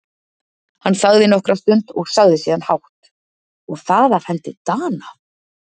Hann þagði nokkra stund og sagði síðan hátt:-Og það af hendi Dana!